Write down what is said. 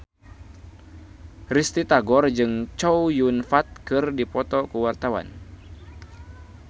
Risty Tagor jeung Chow Yun Fat keur dipoto ku wartawan